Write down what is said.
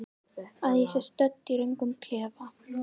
Að ég sé stödd í röngum klefa?